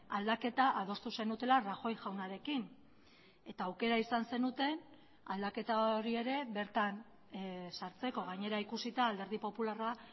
aldaketa adostu zenutela rajoy jaunarekin eta aukera izan zenuten aldaketa hori ere bertan sartzeko gainera ikusita alderdi popularra